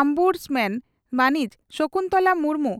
ombudsman ᱢᱟᱹᱱᱤᱡ ᱥᱚᱠᱩᱱᱛᱚᱞᱟ ᱢᱩᱨᱢᱩ